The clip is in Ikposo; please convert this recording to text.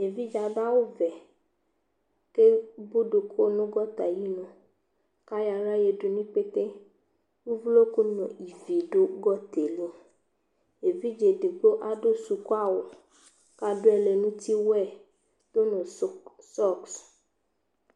Evidze adʋ awʋvɛ kʋ eboduku nʋ gɔta ayinu kʋ ayɔ aɣla yǝdu nʋ ikpete Uvloku nʋ ivi dʋ gɔta yɛ li Evidze edigbo adʋ sukuawʋ kʋ adʋ ɛlɛnʋtiwɛ dʋ nʋ sɔks